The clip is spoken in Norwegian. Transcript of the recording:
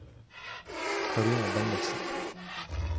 Karine Bendiksen